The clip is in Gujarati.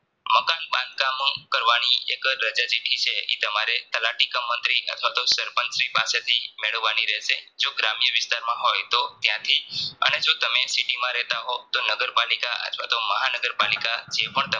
બંધ કામ કરવાની એક રાજા ચીઠી છે. ઈ તમારે તલાટીક મંત્રી અથવાતો સરપંચ શ્રી પાસે થી મેળવવાની રહેશે જો ગ્રામ્ય વિસ્તારમાં હોય તો તયાંથી અને જો તમે City રહેતા હોવ તો નગર પાલિકા અથવાતો મહા નગર પાલિકા